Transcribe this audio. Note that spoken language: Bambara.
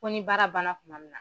Ko ni baara banna kuma min na.